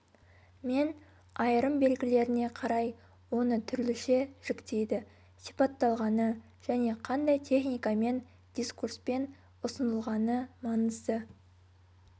мен айырым белгілеріне қарай оны түрліше жіктейді сипатталғаны және қандай техникамен дискурспен ұсынылғаны маңызды